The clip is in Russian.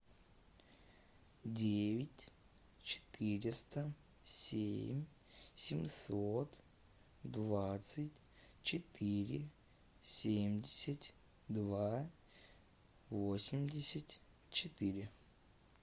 девять четыреста семь семьсот двадцать четыре семьдесят два восемьдесят четыре